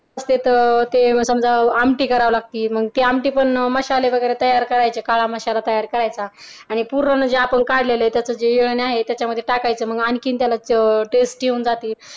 ते समजा आमटी करावी लागते ते आमटी मसाले वगैरे तयार करायचे काळा मसाला तयार करायचा आणि पूर्वजांच्या पण काढलेला आहे आहे त्याच्यामुळे टाकायचं मग आणखीन त्याला test येऊन जाते